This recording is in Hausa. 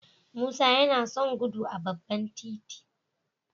Musa yana son gudu a babban titi